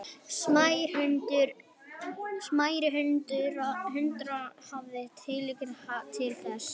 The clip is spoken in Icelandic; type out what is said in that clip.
Smærri hundar hafa tilhneigingu til þess að verða eldri en þeir sem eru stærri.